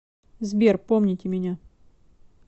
сбер помните меня